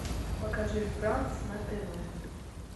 покажи франс на тв